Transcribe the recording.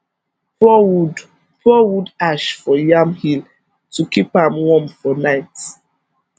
pour wood pour wood ash for yam hill to keep am warm for night